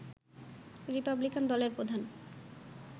Republican দলের প্রধান